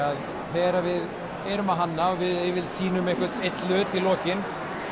þegar við erum að hanna og sýnum einn hlut í lokin